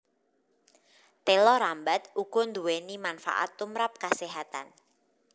Téla rambat uga nduwéni manfaat tumrap kaséhatan